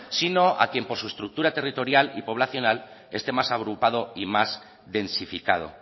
sino a quien por su estructura territorial y poblacional este más agrupado y más densificado